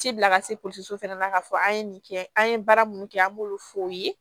Ci bila ka se fɛnɛ na k'a fɔ an ye nin kɛ an ye baara minnu kɛ an b'olu fɔ o ye